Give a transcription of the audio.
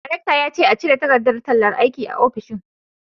Daraktan ya ce a cire takardar tallar aiki a ofishin